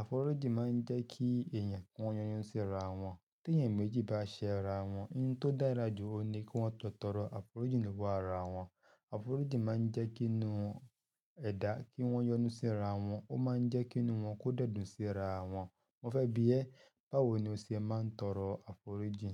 Àforíjì máa ń jẹ́ kí èèyàn, kí wọ́n yọ́nú síra wọ́n Téèyàn méjì bá ṣẹra wọn, ohun tó dára jù òun ni kí wọ́n jọ tọrọ aàforíjì lọ́wọ́ ara wọn. Àforíjì máa ń jẹ́ kí inú ẹdá, kí wọ́n yọ́nú síra wọn, ó máa ń jẹ́ kí inú wọn kó dẹ̀ dùn síra wọn. Mo fẹ́ bi ẹ́, báwo ni o ṣe máa ń tọrọ àforíjì?